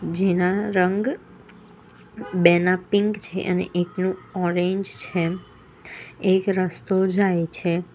જેના રંગ બેના પિંક છે અને એકનું ઓરેન્જ છે એક રસ્તો જાય છે.